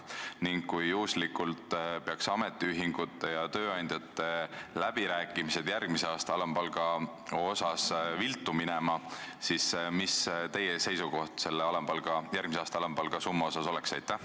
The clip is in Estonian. Ning kui juhuslikult peaks ametiühingute ja tööandjate läbirääkimised järgmise aasta alampalga üle viltu minema, siis mis teie seisukoht järgmise aasta alampalga summa osas oleks?